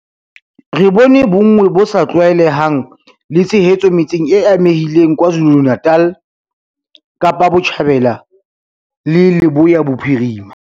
Re bone bonngwe bo sa tlwaelehang le tshehetso metseng e amehileng KwaZulu-Natal, Kapa Botjhabela le Leboya Bophirima.